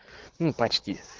ну почти